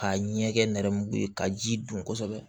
K'a ɲɛ kɛ nɛrɛmugu ye ka ji dun kosɛbɛ